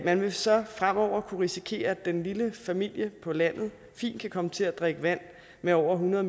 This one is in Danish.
man vil så fremover kunne risikere at den lille familie på landet fint kan komme til at drikke vand med over hundrede